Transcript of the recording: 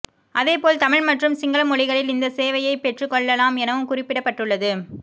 அதேபோல் தமிழ் மற்றும் சிங்கள மொழிகளில் இந்த சேவையை பெற்றுகொள்ளலாம் எனவும் குறிப்பிடப்பட்டுள்ளது